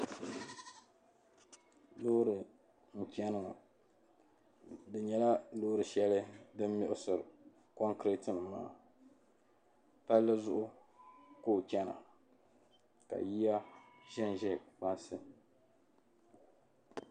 loori n-chani ŋɔ di nyɛla loori shɛli din miɣisiri kɔnkireeti maa palli zuɣu ka o chana ka yiya zanza kpaŋsi